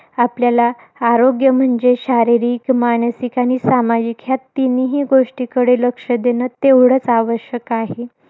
आपल्याला, आरोग्य म्हणजे शारीरिक, मानसिक आणि सामाजिक या तीनही गोष्टींकडे लक्ष देणं, तेवढच आवश्यक आहे.